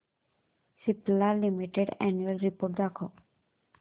Cipla limited annual report दाखव